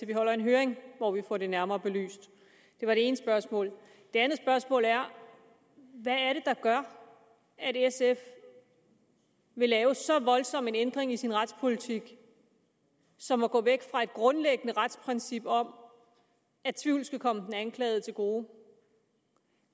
vi holder en høring hvor vi får det nærmere belyst det var det ene spørgsmål det andet spørgsmål er hvad er det der gør at sf vil lave så voldsom en ændring i sin retspolitik som at gå væk fra et grundlæggende retsprincip om at tvivlen skal komme den anklagede til gode